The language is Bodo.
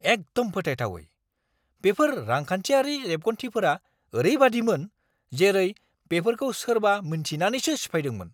एकदम फोथायथावै! बेफोर रांखान्थियारि रेबगान्थिफोरा ओरैबायदिमोन, जेरै बेफोरखौ सोरबा मिन्थिनानैसो सिफायदोंमोन!